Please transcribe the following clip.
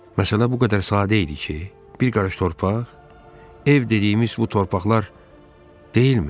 Məsələ bu qədər sadə idi ki, bir qarış torpaq, ev dediyimiz bu torpaqlar deyilmi?